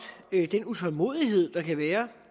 den utålmodighed der kan være